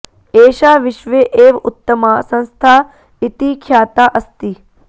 एषा विश्वे एव उत्तमा संस्था इति ख्याता अस्ति